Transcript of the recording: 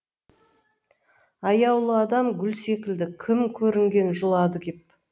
аяулы адам гүл секілді кім көрінген жұлады кеп